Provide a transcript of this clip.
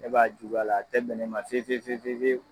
Ɛ b'a juguya l'a tɛ min'e ma fefefefefew